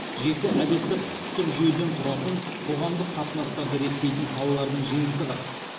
жеті жарғы жеті әдеттік құқықтық жүйеден тұратын қоғамдық қатынастарды реттейтін салалардың жиынтығы